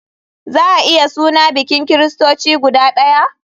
Za a iya suna bikin kiristoci guda ɗaya?